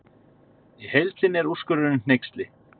Í heild sinni er úrskurðurinn hneyksli